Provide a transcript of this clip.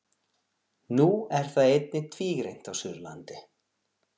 Nú er það einnig tvígreint á Suðurlandi.